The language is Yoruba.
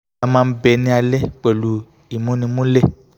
à máa ń bẹ ní alẹ̀ pẹ̀lú ìmúnimúlẹ̀